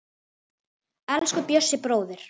Elsku Bjössi bróðir.